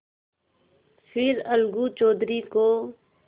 फिर अलगू चौधरी को